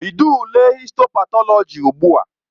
Bido ule histo patọlọji ugbu a!